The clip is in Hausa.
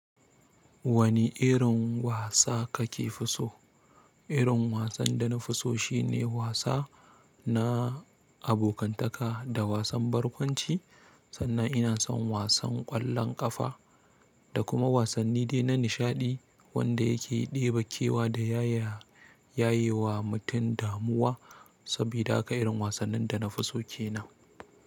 Wani irin wasa akefi so? Irin wasan da na fi so shine wasa na abokantaka da wasan barkwanci. Sannan ina son wasan ƙwallon ƙafa da kuma wasanni dai na nishaɗi wanda yake ɗebe kewa da yaya yayewa mutum damuwa. Sabida haka irin wasannin da na fi so ke nan.